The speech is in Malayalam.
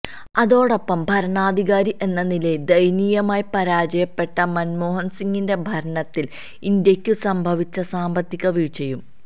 അതോടൊപ്പം ഭരണാധികാരി എന്ന നിലയില് ദയനീയമായി പരാജയപ്പെട്ട മന്മോഹന് സിംഗിന്റെ ഭരണത്തില് ഇന്ത്യക്കു സംഭവിച്ച സാമ്പത്തിക വീഴ്ചയും